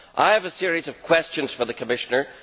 I have a series of questions for the Commissioner.